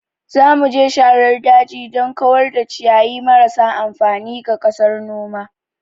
Za mu je sharar daji don kawar da ciyayi marasa amfani ga ƙasar noma.